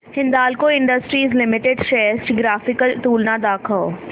Hindalco industries limited shares ची graphical तुलना दाखव